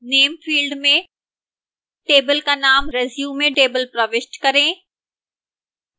name field में table का name resumetable प्रविष्ट करें